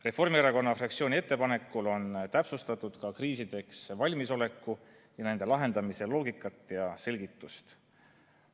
Reformierakonna fraktsiooni ettepanekul on täpsustatud ka kriisideks valmisolekut ja nende lahendamise loogikat ja selgitust.